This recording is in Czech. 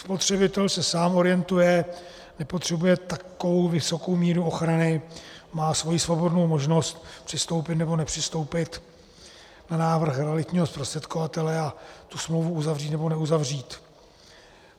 Spotřebitel se sám orientuje, nepotřebuje takovou vysokou míru ochrany, má svoji svobodnou možnost přistoupit nebo nepřistoupit na návrhy realitního zprostředkovatele a tu smlouvu uzavřít nebo neuzavřít.